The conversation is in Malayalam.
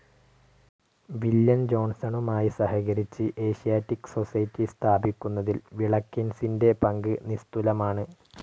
വില്യം ജോൺസണുമായി സഹകരിച്ച് ഏഷ്യാറ്റിക് സൊസൈറ്റി സ്ഥാപിക്കുന്നതിൽ വിളക്കിൻസിൻ്റെ പങ്ക് നിസ്തുലമാണ്.